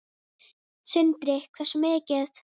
Sindri: Hversu mikið?